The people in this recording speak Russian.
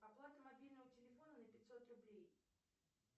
оплата мобильного телефона на пятьсот рублей